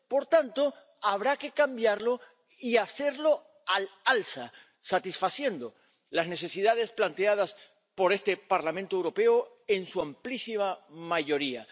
Por tanto, habrá que cambiarlo y hacerlo al alza, satisfaciendo las necesidades planteadas por este Parlamento Europeo en su amplísima mayoría.